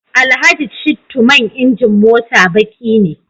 Alhaji Shittu man injin mota baqi ne